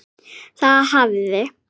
Það hafði